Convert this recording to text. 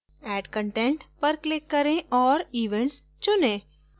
add content पर click करें औऱ events चुनें